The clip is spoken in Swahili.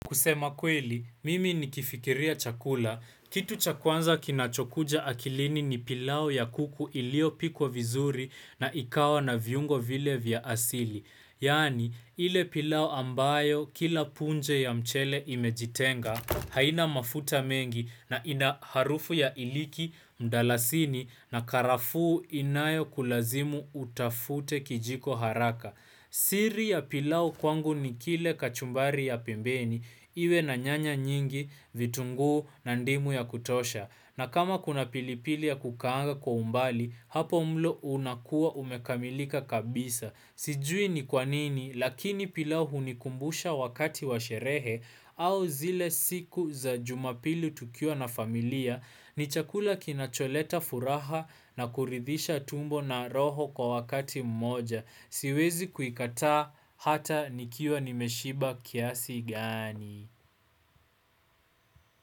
Kusema kweli, mimi nikifikiria chakula, kitu cha kwanza kinachokuja akilini ni pilau ya kuku iliyopikwa vizuri na ikawa na viungo vile vya asili. Yaani, ile pilau ambayo kila punje ya mchele imejitenga, haina mafuta mengi na ina harufu ya iliki, mdalasini na karafuu inayo kulazimu utafute kijiko haraka. Siri ya pilau kwangu ni kile kachumbari ya pembeni iwe na nyanya nyingi vitunguu na ndimu ya kutosha na kama kuna pilipili ya kukaanga kwa umbali hapo mlo unakua umekamilika kabisa. Sijui ni kwanini lakini pilau hunikumbusha wakati wa sherehe au zile siku za jumapili tukiwa na familia ni chakula kinacholeta furaha na kuridhisha tumbo na roho kwa wakati mmoja. Siwezi kuikataa hata nikiwa nimeshiba kiasi gani.